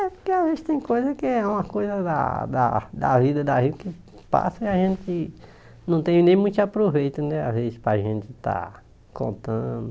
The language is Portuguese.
É, porque às vezes tem coisa que é uma coisa da da da vida da gente que passa e a gente não tem nem muito aproveito, né, às vezes, para a gente estar contando.